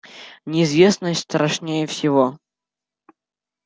неизвестность страшнее всего